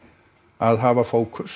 að hafa fókus